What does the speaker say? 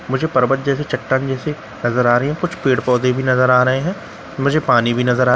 मुझे परबत जैसी चट्टान जैसी नजर आ रही है कुछ पेड़ पौधे भी नजर आ रहे हैं मुझे पानी भी नजर --